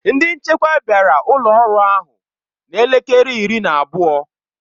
Ndị nchekwa bịara ụlọ ọrụ ahụ na elekere iri na abụọ.